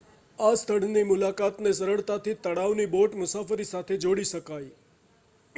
આ સ્થળની મુલાકાત ને સરળતાથી તળાવની બોટ મુસાફરી સાથે જોડી શકાય